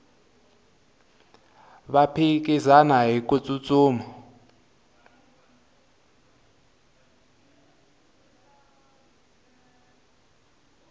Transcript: va phikizana hiku tsutsuma